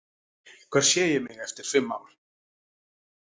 Hvar sé ég mig eftir fimm ár?